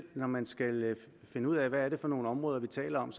når man skal finde ud af hvad det er for nogle områder vi taler om